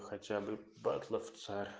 хотя бы батлавцэр